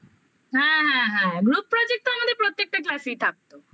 হ্যাঁ হ্যাঁ group project তো আমাদের প্রত্যেকটা class এই থাকতো